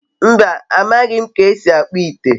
mba, amaghi m ka esi akpu ite